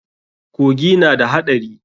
Kogi na da haɗari.